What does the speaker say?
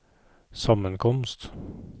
sammenkomst